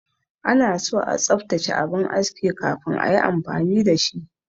Anaso a tsaftace abin aski kafin ayi amfani da shi.